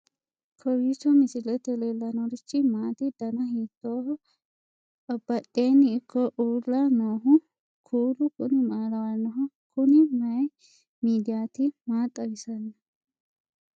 kowiicho misilete leellanorichi maati ? dana hiittooho ?abadhhenni ikko uulla noohu kuulu kuni maa lawannoho? kuni mayi midiyaati maa xawisanno